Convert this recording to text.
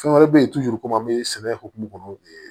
Fɛn wɛrɛ bɛ ye komi an bɛ sɛnɛ hokumu kɔnɔ